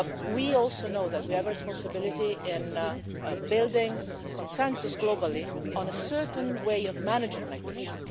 We also know that we have a responsibility to build consensus globally on a certain way of managing migration.